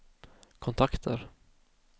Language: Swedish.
kontakter